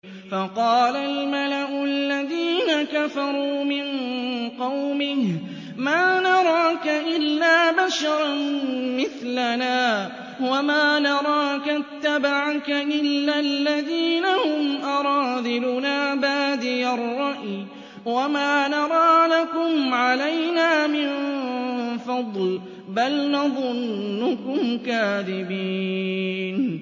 فَقَالَ الْمَلَأُ الَّذِينَ كَفَرُوا مِن قَوْمِهِ مَا نَرَاكَ إِلَّا بَشَرًا مِّثْلَنَا وَمَا نَرَاكَ اتَّبَعَكَ إِلَّا الَّذِينَ هُمْ أَرَاذِلُنَا بَادِيَ الرَّأْيِ وَمَا نَرَىٰ لَكُمْ عَلَيْنَا مِن فَضْلٍ بَلْ نَظُنُّكُمْ كَاذِبِينَ